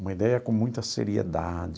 Uma ideia com muita seriedade.